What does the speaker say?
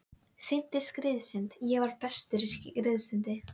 Synti skriðsund ég var bestur í skriðsundi.